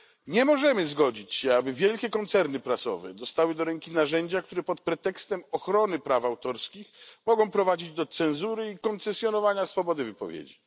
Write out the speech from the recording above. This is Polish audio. Nie możemy zgodzić się, aby wielkie koncerny prasowe dostały do ręki narzędzia, które pod pretekstem ochrony praw autorskich mogą prowadzić do cenzury i koncesjonowania swobody wypowiedzi.